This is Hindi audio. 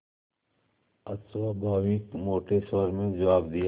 अस्वाभाविक मोटे स्वर में जवाब दिया